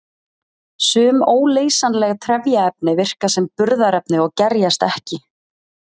Sum óleysanleg trefjaefni virka sem burðarefni og gerjast ekki.